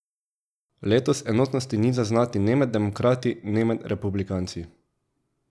Letos enotnosti ni zaznati ne med demokrati ne med republikanci.